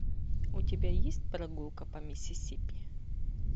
у тебя есть прогулка по миссисипи